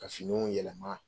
Ka finiw yɛlɛma